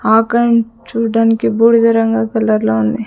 Icon చూడ్డానికి బూడిద రంగు కలర్ లో ఉంది.